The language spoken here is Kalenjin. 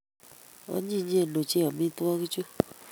Onyinyen ochei amitwogichu